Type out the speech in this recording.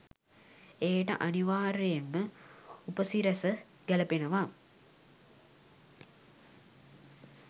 එයට අනිවාර්‍යයෙන්ම උපසිරැස ගැලපෙනවා